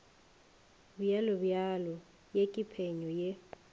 bjalobjalo ye ke phenyo ye